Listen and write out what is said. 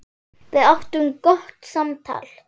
Við áttum gott samtal.